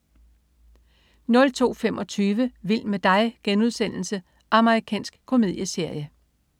02.25 Vild med dig.* Amerikansk komedieserie